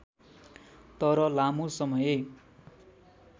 तर लामो समय